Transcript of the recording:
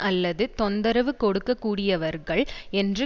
அல்லது தொந்தரவு கொடுக்கக்கூடியவர்கள் என்று